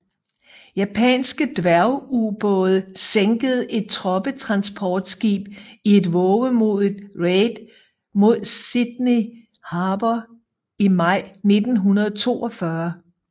Japanske dværgubåde sænkede et troppetransportskib i et vovemodigt raid mod Sydney Harbour i maj 1942